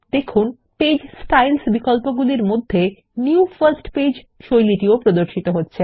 দেখুন পৃষ্ঠা শৈলী বিকল্পগুলির মধ্যে নিউ ফার্স্ট পেজ শৈলী প্রদর্শিত হচ্ছে